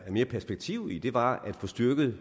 mere perspektiv i var at få styrket og